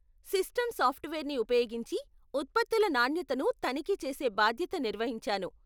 System సాఫ్ట్వేర్ని ఉపయోగించి ఉత్పత్తుల నాణ్యతను తనిఖీ చేసే బాధ్యత నిర్వహించాను.